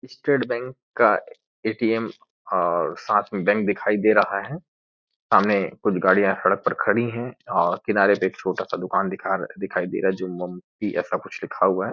State bank का A T M और साथ में बैंक दिखाई दे रहा है सामने कुछ गाड़िया सड़क खड़ी और किनारे पे एक छोटा-सा दुकान दिखा दिखाई दे रहा है जो मम ती ऐसा कुछ लिखा हुआ है।